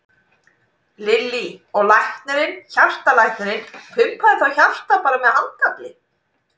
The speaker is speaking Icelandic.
Lillý: Og læknirinn, hjartalæknirinn pumpaði þá hjartað bara með handafli?